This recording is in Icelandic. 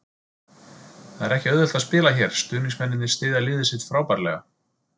Það er ekki auðvelt að spila hér, stuðningsmennirnir styðja liðið sitt frábærlega.